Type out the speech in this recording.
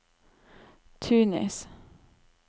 Tunis